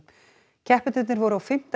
keppendurnir voru á fimmta